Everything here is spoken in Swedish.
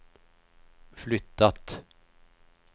flyttat